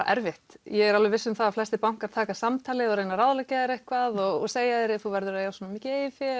erfitt ég er viss um það að flestir bankar taka samtalið og reyna að ráðleggja þér eitthvað og segja þér að þú verðir að eiga svona mikið eigið fé